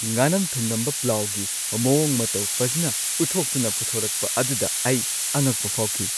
ꯉꯥꯅꯝ-ꯊꯨꯝꯅꯝꯕ ꯄ꯭ꯂꯥꯎꯒꯤ ꯃꯑꯣꯡ ꯃꯇꯧ ꯐꯖꯅ ꯎꯠꯊꯣꯛꯇꯨꯅ ꯄꯨꯊꯣꯔꯛꯄ ꯑꯗꯨꯗ ꯑꯩ ꯑꯉꯛꯄ ꯐꯥꯎꯈꯤ ꯫